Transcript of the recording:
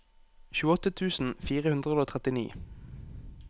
tjueåtte tusen fire hundre og trettini